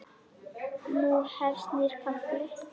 Nú hefst nýr kafli.